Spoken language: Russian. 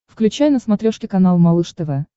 включай на смотрешке канал малыш тв